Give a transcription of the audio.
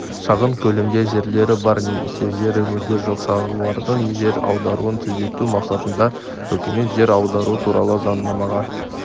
шағын көлемде жерлері бар немесе жері мүлде жоқ шаруалардың жер аударуын тездету мақсатында үкімет жер аудару туралы заңнамаға